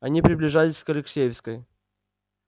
они приближались к алексеевской